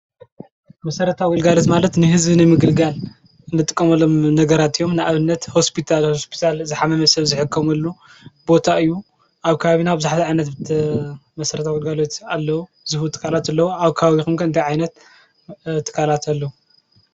መሰረታዊ ግልጋሎት ማለት ንህዝቢ ንምግልጋል ንጥቀመሎም ነገራት እዮም ፤ ንኣብነት ሆስፒታል ዝሓመመ ሰብ ዝሕከመሉ ቦታ እዩ፤ ኣብ ከባቢና ኣብ ከባቢና ብዙሓት ዓይነት መሰረታዊ ግልጋሎት ኣለዉ። ኣብ ከባቢኩም ከ እንታይ ዓይነት ትካላት ኣለዉ?